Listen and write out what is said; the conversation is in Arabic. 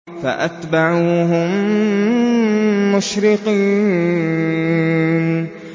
فَأَتْبَعُوهُم مُّشْرِقِينَ